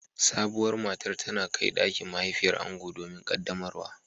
Sabuwar matar tana kai dakin mahaifiyar ango domin qaddamarwa